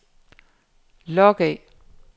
log af